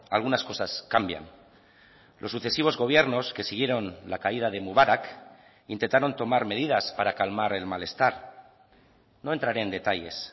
algunas cosas cambian los sucesivos gobiernos que siguieron la caída de mubarak intentaron tomar medidas para calmar el malestar no entraré en detalles